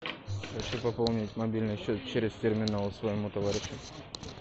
хочу пополнить мобильный счет через терминал своему товарищу